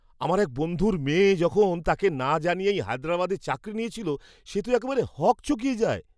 আমার বন্ধুর মেয়ে যখন তাকে না জানিয়েই হায়দরাবাদে চাকরি নিয়েছিল সে তো একেবারে হকচকিয়ে যায়!